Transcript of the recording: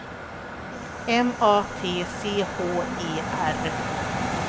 M A T C H E R